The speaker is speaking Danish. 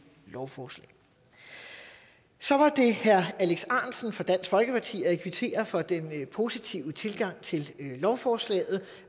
lovforslag så var det herre alex ahrendtsen fra dansk folkeparti jeg kvitterer for den positive tilgang til lovforslaget